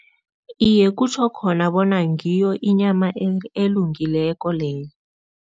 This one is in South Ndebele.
Iye, kutjho khona bona ngiyo inyama elungileko leyo.